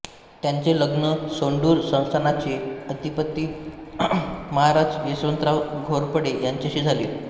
त्यांचे लग्न सोंडूर संस्थानाचे अधिपती महाराज यशवंतराव घोरपडे यांच्याशी झाले होते